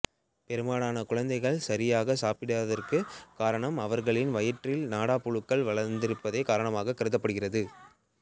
பெரும்பாலான குழந்தைகள் சாியாக சாப்பிடாததற்கு காரணம் அவா்களின் வயிற்றில் நாடாப்புழுக்கள் வளா்ந்து இருப்பதே காரணமாக கருதப்படுகிறது